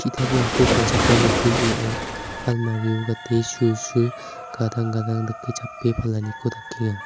ki·itaprangko palchakram nokni ning·ao almari o gate sulsul gadang-gadang dake chape palaniko dakenga.